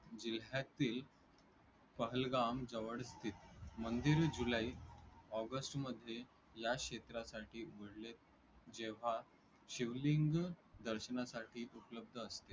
जिल्ह्याचे पहलगाम जवळचे मंदिर जुलै, ऑगस्टमध्ये या क्षेत्रासाठी उघडले जेव्हा शिवलिंग दर्शनासाठी उपलब्ध असते.